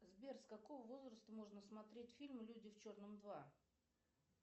сбер с какого возраста можно смотреть фильм люди в черном два